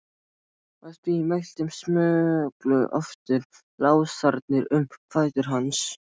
Að því mæltu smullu aftur lásarnir um fætur hans.